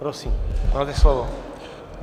Prosím, máte slovo.